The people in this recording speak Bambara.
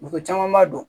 Muso caman b'a dɔn